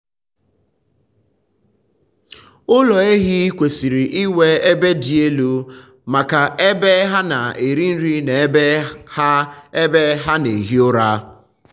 ụlọ ehi kwesịrị inwe ebe dị elu um maka ebe um ha na-eri nri na ebe ha ebe ha na-ehi ụra.